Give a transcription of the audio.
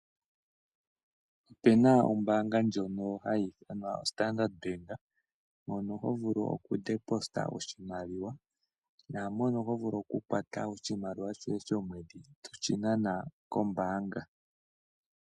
Opena ombaanga ndjono hayi ithanwa Standard mono hovulu oku pungula oshimaliwa naamono hovulu okukwata oshimaliwa shoye shomwedhi toshinana kombaanga